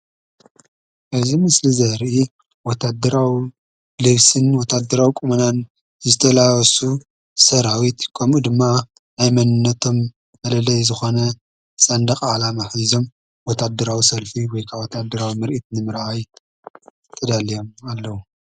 እዚ ምስሊ ዘርኢ ወታድራዊ ልብስን ወታድራዊ ቆመናን ዝተላበሱ ሰራዊት ከምኡ ድማ ናይ መንነቶም መለለይ ዝኮነ ሰንደቅ ዓላማ ሒዞም ወታድራዊ ሰልፊ ወይ ከኣ ወታድራዊ ምርኢት ንምርኣይ ተዳልዮም ኣለው።